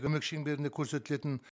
көмек шеңберінде көрсетілетін